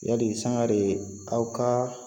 Yali sangare aw ka